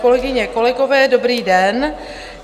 Kolegyně, kolegové, dobrý den.